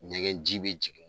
Ɲɛgɛn ji bi jigin